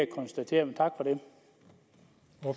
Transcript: konstatere men tak